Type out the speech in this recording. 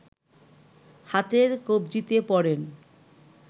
হাতের কব্জিতে পরেন